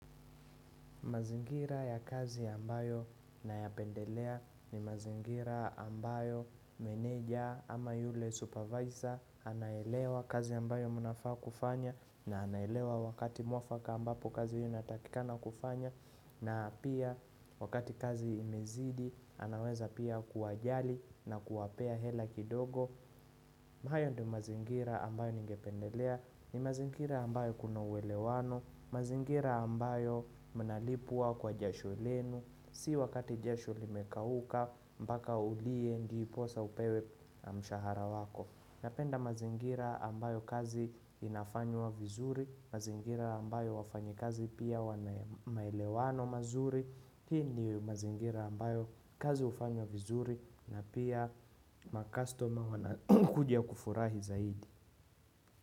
Mazingira ya kazi ambayo nayapendelea ni mazingira ambayo meneja ama yule supervisor anaelewa kazi ambayo mnafaa kufanya na anaelewa wakati mwafaka ambapo kazi hiyo inatakikana kufanywa na pia wakati kazi imezidi anaweza pia kuwajali na kuwapea hela kidogo. Hayo ndiyo mazingira ambayo ningependelea, ni mazingira ambayo kuna uwelewano, mazingira ambayo mnalipwa kwa jasho lenu, si wakati jasho limekauka, mpaka ulie ndiposa upewe mshahara wako. Napenda mazingira ambayo kazi inafanywa vizuri, mazingira ambayo wafanyikazi pia wana maelewano mazuri, hii ni mazingira ambayo kazi hufanywa vizuri na pia makastoma wanakuja kufurahi zaidi.